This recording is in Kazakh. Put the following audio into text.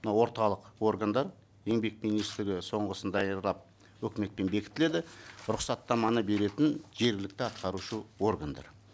мына орталық органдар еңбек министрі соңғысын даярлап өкіметпен бекітіледі рұқсаттаманы беретін жергілікті атқарушы органдар